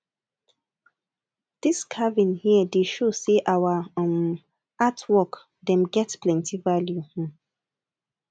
dis carving here dey show sey our um art work dem get plenty value um